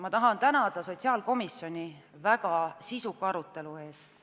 Ma tahan tänada sotsiaalkomisjoni väga sisuka arutelu eest.